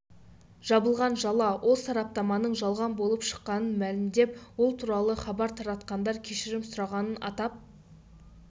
жабылған жала ол сараптаманың жалған болып шыққанын мәлімдеп ол туралы хабар таратқандар кешірім сұрағанын атап